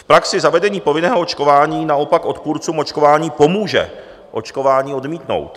V praxi zavedení povinného očkování naopak odpůrcům očkování pomůže očkování odmítnout.